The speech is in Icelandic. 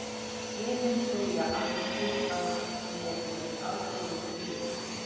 Héðinn segja allir að sé með afbrigðum duglegur.